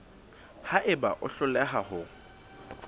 ha eba o hloleha ho